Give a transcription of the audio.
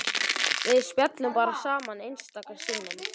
Við spjölluðum bara saman einstaka sinnum.